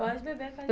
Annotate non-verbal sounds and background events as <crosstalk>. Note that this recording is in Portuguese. Pode beber. <unintelligible>